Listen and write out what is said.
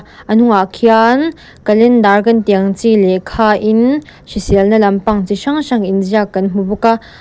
a hnungah khian calendar kan tih ang chi lehkhain hriselna lampang chi hrang hrang inziak kan hmu bawk a.